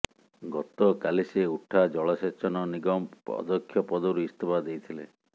ଗତକାଲି ସେ ଉଠାଜଳସେଚନ ନିଗମ ଅଧ୍ୟକ୍ଷ ପଦରୁ ଇସ୍ତଫା ଦେଇଥିଲେ